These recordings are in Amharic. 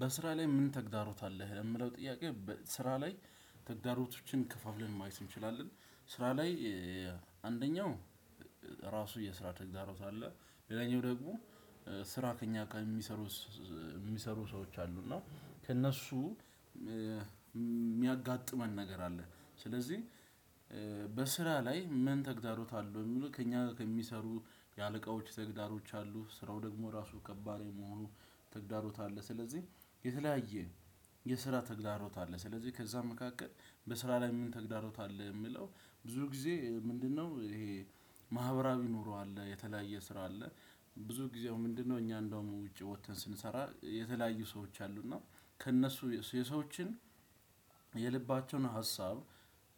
በስራ ላይ ምን ተግዳሮት አለህ? የምለው ጥያቄ ስራ ላይ ተግዳሮቶችን ከፋፍለን ማየት እንችላለን። ስራ ላይ አንደኛው ራሱ የስራ ተግዳሮት አለ። ሌላኛው ደግሞ ስራ ከእኛ ከሚሰሩ ሚሰሩ ሰዎች አሉ እና ከእነሱ ሚያጋጥመን ነገር አለ። ስለዚህ በስራ ላይ ምን ተግዳሮት አሉ የሚለው ከእኛጋ ከሚሰሩ የአለቆች ተግዳሮች አሉ ስራው ደግሞ ራሱ ከባድ የመሆኑ ተግዳሮት አለ። ስለዚህ የተለያየ የስራ ተግዳሮት አለ። ስለዚህ ከዛም መካከል በስራ ላይ ምን ተግዳሮት አለ የሚለው ብዙ ጊዜ ምንድነው ይሄ? ማህበራዊ ኑሮ አለ የተለያየ ስራ አለ። ብዙ ጊዜ አሁን ምንድነው እኛ እንደውም ውጪ ወተን ስንሰራ የተለያዩ ሰዎች አሉ እና ከእነሱ የሰዎችን የልባቸውን ሀሳብ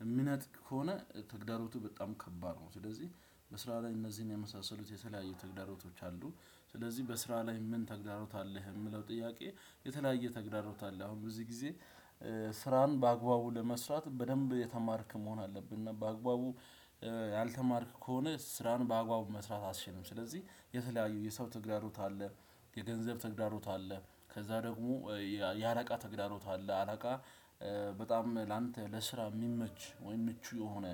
እምነት ከሆነ ተግዳሮቱ በጣም ከባድ ነው። ስለዚህ በስራ ላይ እነዚህን የመሳሰሉት የተለያዩ ተግዳሮቶች አሉ። ስለዚህ በስራ ላይ ምን ተግዳሮት አለህ የሚለው ጥያቄ? የተለያየ ተግዳሮት አለ። አሁን በዚህ ጊዜ ስራን በአግባቡ ለመስራት በደንብ የተማርክ መሆን አለብህ። እና በአግባቡ ያልተማርክ ከሆነ ስራን በአግባቡ መስራት አትችልም። ስለዚህ የተለያዩ የሰው ተግዳሮት አለ። የገንዘብ ተግዳሮት አለ። ከዛ ደግሞ የአለቃ ተግዳሮት አለ አለቃ በጣም ላንተ ለስራ የሚመች ወይም ምቹ የሆነ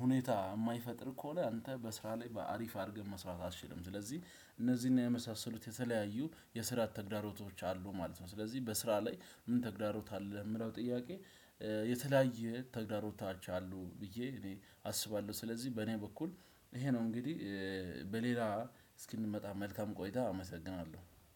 ሁኔታ የማይፈጥር ከሆነ አንተ በስራ ላይ በአሪፍ አድርገ መስራት አትችልም። ስለዚህ እነዚህና የመሳሰሉት የተለያዩ የስራት ተግዳሮቶች አሉ ማለት ነው። ስለዚህ በስራ ላይ ምን ተግዳሮት አለ ለሚለው ጥያቄ? የተለያየ ተግዳሮቶች አሉ ብዬ እኔ አስባለሁ ስለዚህ በኔ በኩል ይሄ ነው። እንግዲህ በሌላ እስክንመጣ መልካም ቆይታ አመሰግናለሁ።